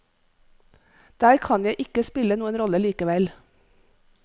Der kan jeg ikke spille noen rolle likevel.